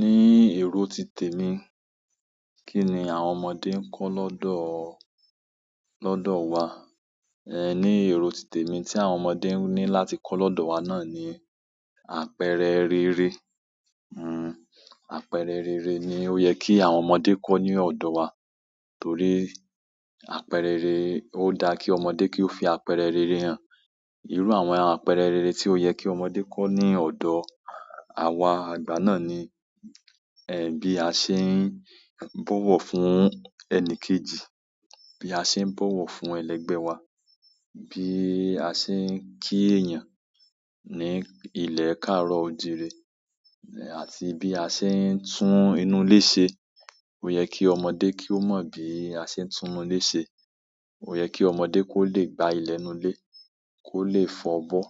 Ní èrò titẹ mi, kí ni àwọn ọmọdé ń kọ́ lọ́dọ̀ ọ, lọ́dọ̀ wa? Ẹ̀, ní èrò titẹ mi tí àwọn ọmọdé ń ní láti kọ́ lọ́dọ̀ wa náà ni, àpẹẹrẹ rere. Hmm àpẹẹrẹ rere ni o ye ki àwọn ọmọdé ko ni odo wa torí àpẹẹrẹ rere, ó da kí ọmọdé kí ó fi àpẹẹrẹ rere hàn. Irú àwọn àpẹẹrẹ rere tí ó yẹ kí ọmọdé kó ní ọ̀dọ̀ àwa àgbà náà ni, ẹ́, bí a ṣe ń bọ̀wọ̀ fún ẹni kejì, bí a ṣe ń bọ̀wọ̀ fún ẹlẹgbẹ́ wa, bí a ṣe ń kí èèyàn ní ilẹ̀ káàárọ̀ òjìí rẹ̀, àti bí a ṣe ń tún inú ilé ṣe. Oye ki ọmọdé ki o mo bi ase n tunu ile se. Ó yẹ kí ọmọdé kó lè gba ilẹ̀ inú ilé, kó lè fọ bọ,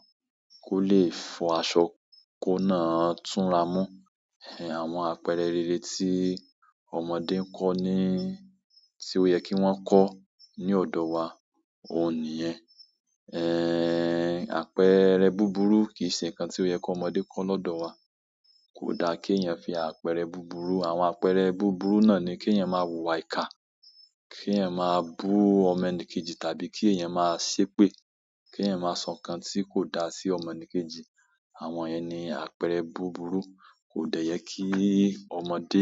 kó lè fọ aṣọ kóun náá túnra mú. Ẹ̀, àwọn àpẹẹrẹ rere tí ọmọdé ń kọ́ ní, tí ó yẹ kí wọ́n kọ́ ní ọ̀dọ̀ wa, òun nìyẹn. Ẹ́ẹ̀, àpẹẹrẹ búburú kì í ṣe nǹkan tí ó yẹ kí ọmọdé kó lọ́dọ̀ wa. Kò da kí èèyàn fi àpẹẹrẹ búburú. Àwọn àpẹẹrẹ búburú náà ni kèèyàn máa wùwà ìka, kèèyàn máa bú ọmọ ẹni kejì tàbí kí èèyàn máa ṣépè, kèèyàn máa sọ nǹkan tí kò da sí ọmọ ẹni kejì. Àwọn yẹn ni àpẹẹrẹ búburú, kò dẹ yẹ kí ọmọdé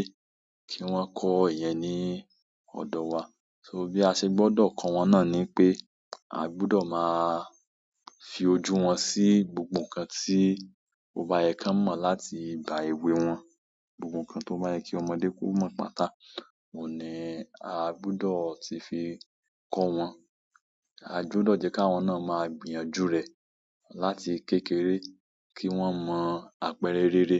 kí wọ́n kọ́ ìyẹn ní ọ̀dọ̀ wa. So bí a ṣe gbọ́dọ̀ kọ́ wọn náà ni i pé, a gbúdọ̀ máa fi ojú wọn sí gbogbo nǹkan tí ó bá yẹ kan mọ̀ láti ba ewé wọn. Gbogbo nǹkan tó bá yẹ kí ọmọdé kó mọ̀ pátà, òun ni a gbúdọ̀ ti fi kọ́ wọn. A gbúdọ̀ jẹ́ ká wọn náà máa gbìyànjú rẹ̀ láti kékeré, kí wọ́n mọ̀ àpẹẹrẹ rere,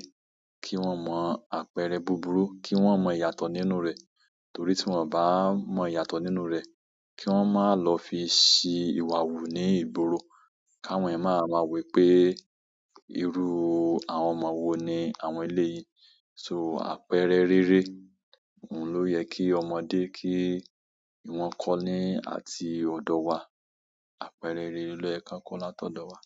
kí wọ́n mọ̀ àpẹẹrẹ búburú, kí wọ́n mọ ìyàtọ̀ nínú rẹ̀. Torí tí wọ́n ò bá mọ ìyàtọ̀ nínú rẹ̀, kí wọ́n má lọ fi ṣí ìwà wù ní ìgboro. Káwọn yẹ̀n máa wa ma wo wíé, "irú àwọn ọmọ wo ni àwọn eleyi yìí?" So àpẹẹrẹ rere, òun ló yẹ kí ọmọdé kí wọ́n kọ́ ní àti ọ̀dọ̀ wa. Àpẹẹrẹ rere ló yẹ kan kọ́ látọ̀dọ̀ wa.